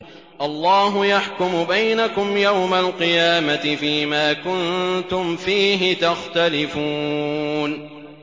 اللَّهُ يَحْكُمُ بَيْنَكُمْ يَوْمَ الْقِيَامَةِ فِيمَا كُنتُمْ فِيهِ تَخْتَلِفُونَ